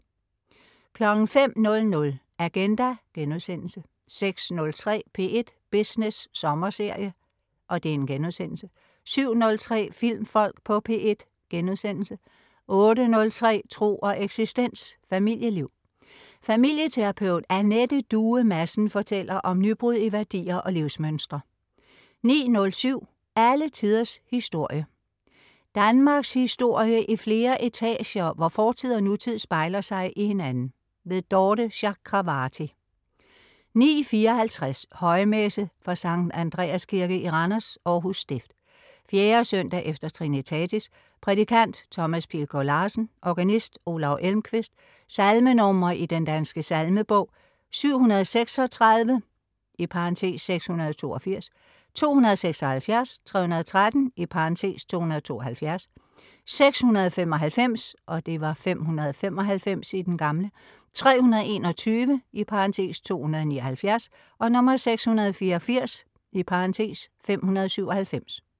05.00 Agenda* 06.03 P1 Business sommerserie* 07.03 Filmfolk på P1* 08.03 Tro og eksistens. Familieliv. Familieterapeut Anette Due Madsen fortæller om nybrud i værdier og livsmønstre 09.07 Alle tiders historie. Danmarkshistorie i flere etager, hvor fortid og nutid spejler sig i hinanden. Dorthe Chakravarty 09.54 Højmesse - fra Sankt Andreas kirke i Randers (Århus stift). 4. søndag efter trinitatis. Prædikant: Thomas Pilgaard Larsen. Organist: Olav Elmqvist. Salmenr. i Den Danske Salmebog: 736 (682), 276, 313 (272), 695 (595), 321 (279), 684 (597)